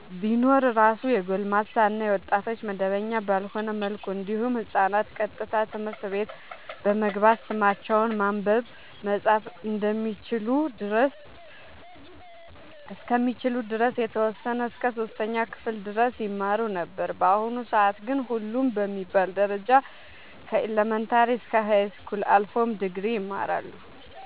ቢኖር እራሱ የጎልማሳ እና የወጣቶች መደበኛ ባልሆነ መልኩ እንዲሁም ህፃናት ቀጥታ ትምህርት ቤት በመግባት ስማቸውን ማንበብ መፃፍ እስከሚችሉ ድረስ የተወሰነ እስከ 3ኛ ክፍል ድረስ ይማሩ ነበር በአሁኑ ሰአት ግን ሁሉም በሚባል ደረጃ ከኢለመንታሪ እስከ ሀይስኩል አልፎም ድግሪ ይማራሉ